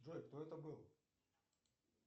джой кто это был